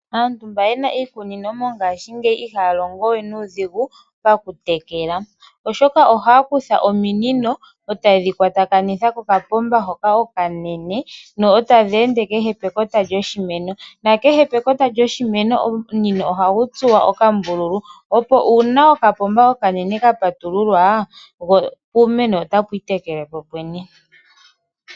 Aantu mba yena iikunino mongashingeya ihaya longo we nuudhigu pokutekela oshoka ohaya kutha ominino etaye dhi kwatakanitha kopapomba hoka okanene etadhi ende kehe pekota lyoshimeno nakehe pekota lyoshimeno omunino ohagu tsuwa okambululu opo uuna okapomba okanene ka patululwa wo iimeno otapu itekele poopwene.